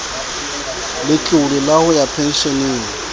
letlole la ho ya pensheneng